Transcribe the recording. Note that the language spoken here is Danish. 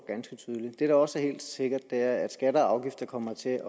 ganske tydeligt det der også er helt sikkert er at skatter og afgifter kommer til